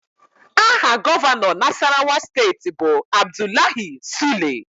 Aha Gọvanọ Nasarawa steeti bụ Abdullahi Sule